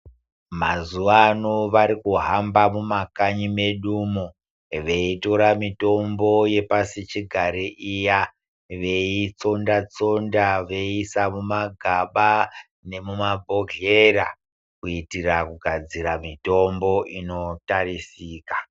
Mazuvano vari kuhamba muma kanyi medumo vei tora mitombo ye pasi chigare iya vei tsonda veisa muma gaba nemuma bhedhlera kuitira kugadzira mitombo ino tarisika.